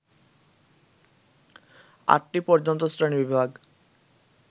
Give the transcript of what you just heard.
আটটি পর্যন্ত শ্রেণীবিভাগ